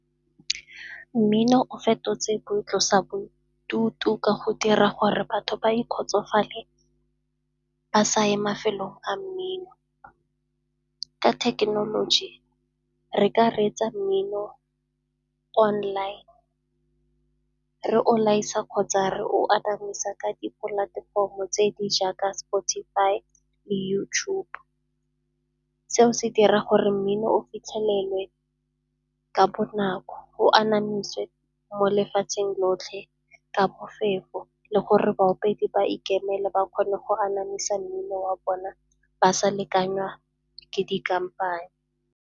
Mmino o fetotse boitlosabodutu ka go dira gore batho ba ikgotsofalele, ba sa ye mafelong a mmino. Ka thekenoloji re ka reetsa mmino online, re o laisa kgotsa re o anamisa ka dipolatefomo tse di jaaka Spotify le YouTube. Seo se dira gore mmino o fitlhelelwe ka bonako, o anamisiwe mo lefatsheng lotlhe bofefo le gore baopedi ba ikemele ba kgone go anamisa mmino wa bona ba sa lekanywa ke dikampane.